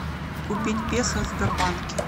купить песо в сбербанке